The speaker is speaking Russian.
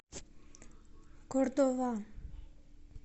кордова